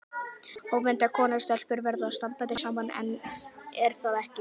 Ónefnd kona: Stelpur verða að standa saman, er það ekki?